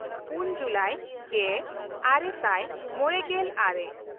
ᱯᱩᱱ ᱡᱩᱞᱟᱭ ᱜᱮᱼᱟᱨᱮ ᱥᱟᱭ ᱢᱚᱬᱮᱜᱮᱞ ᱟᱨᱮ